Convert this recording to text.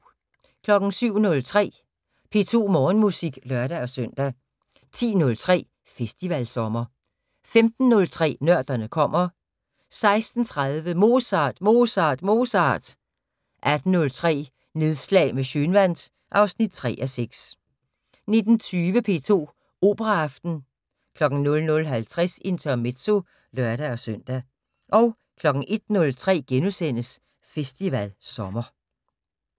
07:03: P2 Morgenmusik (lør-søn) 10:03: Festivalsommer 15:03: Nørderne kommer 16:30: Mozart, Mozart, Mozart 18:03: Nedslag med Schønwandt (3:6) 19:20: P2 Operaaften 00:50: Intermezzo (lør-søn) 01:03: Festivalsommer *